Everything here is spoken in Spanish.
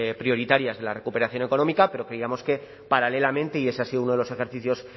prioritarias de la recuperación económica pero creíamos que paralelamente y ese ha sido uno de los ejercicios